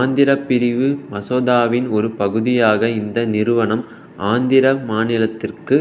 ஆந்திர பிரிவு மசோதாவின் ஒரு பகுதியாக இந்த நிறுவனம் ஆந்திர மாநிலத்திற்கு